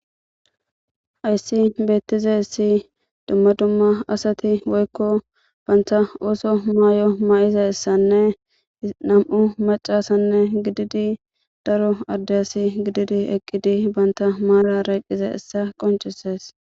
Haysi beetizaysi duma duma asati woyko banta oosoy mayo mayidaysane nam'u macasa gididi daro adde asa gididi eqidi banta maarara eqidaysa qoncises.